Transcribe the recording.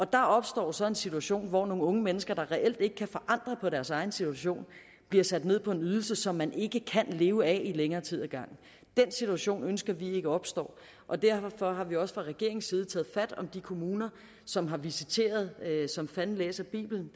der opstår så en situation hvor nogle unge mennesker der reelt ikke kan forandre på deres egen situation bliver sat ned på en ydelse som man ikke kan leve af i længere tid ad gangen den situation ønsker vi ikke opstår og derfor har vi også fra regeringens side taget fat om de kommuner som har visiteret som fanden læser bibelen